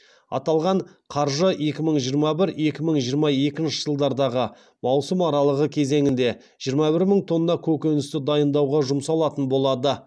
аталған қаржы екі мың жиырма бір екі мың жиырма екінші жылдардағы маусым аралығы кезеңінде жиырма бір мың тонна көкөністі дайындауға жұмсалатын болады